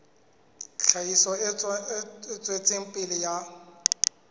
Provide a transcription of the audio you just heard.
tlhahiso e tswetseng pele ya